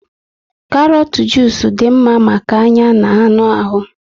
karọt jusu dị mma maka anya na anụ ahụ